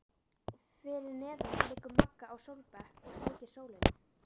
Fyrir neðan liggur Magga á sólbekk og sleikir sólina.